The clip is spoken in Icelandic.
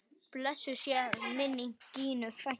Blessuð sé minning Gínu frænku.